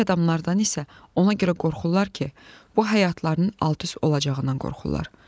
Pak adamlardan isə ona görə qorxurlar ki, bu həyatlarının alt-üst olacağından qorxurlar.